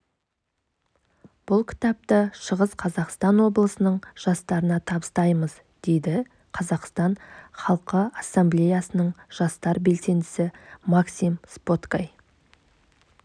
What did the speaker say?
бұл кітапты шығыс қазақстан облысының жастарына табыстаймыз дейді қазақстан халқы ассамблеясының жастар белсендісі максим споткай